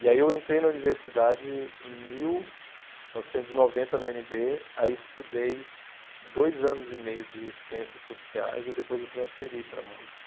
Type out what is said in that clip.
E aí eu entrei na universidade em mil novecentos e noventa, na u ene bê, aí estudei dois anos e meio de ciências sociais e depois eu transferi para a música.